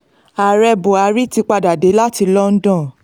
ààrẹ buhari ti padà dé láti london